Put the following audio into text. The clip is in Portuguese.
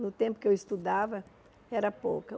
No tempo que eu estudava, era pouca.